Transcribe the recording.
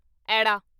ਐੜਾ